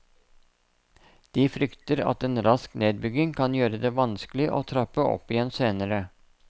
De frykter at en rask nedbygging kan gjøre det vanskelig å trappe opp igjen senere.